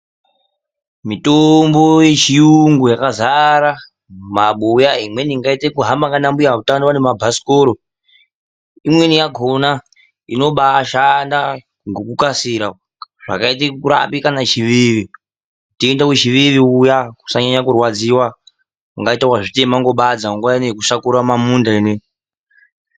Mitombo yechiyungu yakazara mumabuya. Imweni ingaite kuhamba nana mbuya hutano vanemabhasikoro. Imweni yakona inobaashanda ngokukasira. Zvakaita yekurapa kana chiveve. Utenda wechiveve uya usanyanya kurwadziwa. Ungati wazvitema nebadza nguva ino yekushakura mumamunda inoyi.